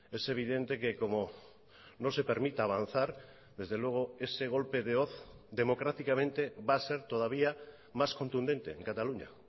es evidente que como no se permita avanzar desde luego ese golpe de hoz democráticamente va a ser todavía más contundente en cataluña